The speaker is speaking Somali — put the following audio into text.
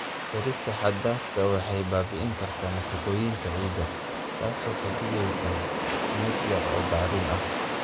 Beerista xad-dhaafka ah waxay baabi'in kartaa nafaqooyinka ciidda, taasoo ka dhigaysa mid yar oo bacrin ah.